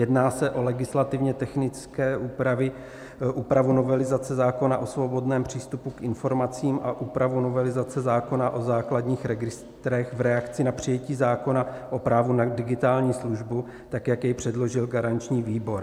Jedná se o legislativně technické úpravy, úpravu novelizace zákona o svobodném přístupu k informacím a úpravu novelizace zákona o základních registrech v reakci na přijetí zákona o právu na digitální službu tak, jak jej předložil garanční výbor.